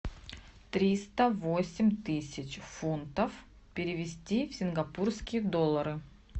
триста восемь тысяч фунтов перевести в сингапурские доллары